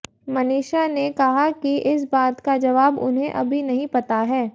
मनीषा ने कहा कि इस बात का जवाब उन्हें अभी नही पता है